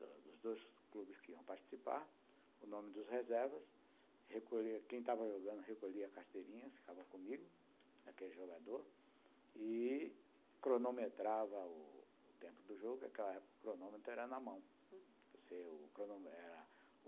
dos dois clubes que iam participar, o nome dos reservas, quem estava jogando recolhia a carteirinha, ficava comigo, daquele jogador, e cronometrava o tempo do jogo, porque naquela época o cronômetro era na mão